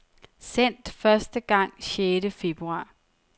Sendt første gang sjette februar.